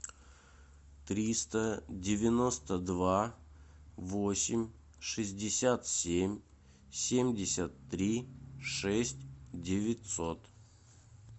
триста девяносто два восемь шестьдесят семь семьдесят три шесть девятьсот